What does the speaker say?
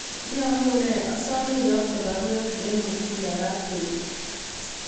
Iyamune asame iyakte baruet en Mutinda raa bet